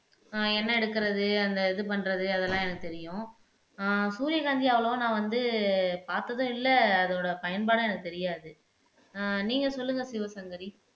ஆஹ் எண்ணெய் எடுக்கிறது அந்த இது பண்றது அதெல்லாம் எனக்குத் தெரியும் ஆஹ் சூரியகாந்தி அவ்வளவா நான் வந்து பார்த்ததும் இல்லை அதோட பயன்பாடும் எனக்குத் தெரியாது ஆஹ் நீங்க சொல்லுங்க சிவசங்கரி